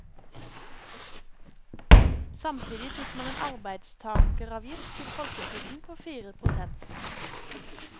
Samtidig fikk man en arbeidstakeravgift til folketrygden på fire prosent.